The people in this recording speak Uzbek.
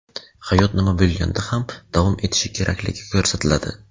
hayot nima bo‘lganda ham davom etishi kerakligi ko‘rsatiladi.